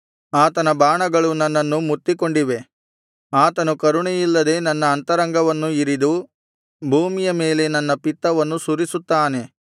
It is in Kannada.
ಆತನ ಬಾಣಗಳು ನನ್ನನ್ನು ಮುತ್ತಿಕೊಂಡಿವೆ ಆತನು ಕರುಣೆಯಿಲ್ಲದೆ ನನ್ನ ಅಂತರಂಗವನ್ನು ಇರಿದು ಭೂಮಿಯ ಮೇಲೆ ನನ್ನ ಪಿತ್ತವನ್ನು ಸುರಿಸುತ್ತಾನೆ